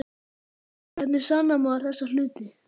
Hvernig sannar maður þessa hluti?